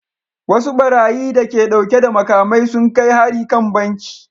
Wasu barayi da ke dauke da makamai sun kai hari kan banki